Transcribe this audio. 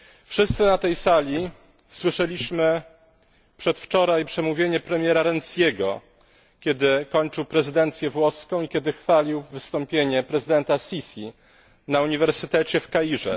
Wszyscy na tej sali słyszeliśmy przedwczoraj przemówienie premiera Renziego, kiedy kończył prezydencję włoską i kiedy chwalił wystąpienie prezydenta Sisi na uniwersytecie w Kairze.